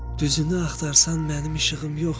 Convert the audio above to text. Düzünü axtarsan, mənim işığım yoxdur.